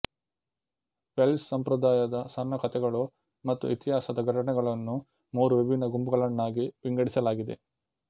Welsh ಸಂಪ್ರದಾಯದ ಸಣ್ಣ ಕಥೆಗಳು ಮತ್ತು ಇತಿಹಾಸದ ಘಟನೆಗಳನ್ನು ಮೂರು ವಿಭಿನ್ನ ಗುಂಪುಗಳನ್ನಾಗಿ ವಿಂಗಾಡಿಸಲಾಗಿದೆ